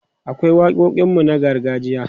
akwai waƙoƙin mu na gargajiya